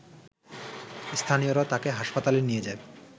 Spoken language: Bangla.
স্থানীয়রা তাকে হাসপাতালে নিয়ে যায়